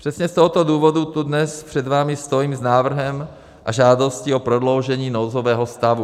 Přesně z tohoto důvodu tu dnes před vámi stojím s návrhem a žádostí o prodloužení nouzového stavu.